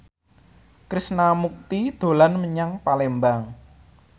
Krishna Mukti dolan menyang Palembang